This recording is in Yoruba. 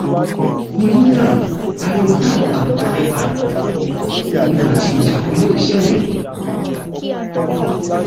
torí náà ariwo táwọn kan ń pa nípa ogun àti ìjà kò lè ṣẹlẹ